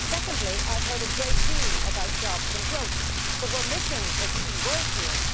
Secondly, I have heard a great deal about jobs and growth, but we are missing a key word here.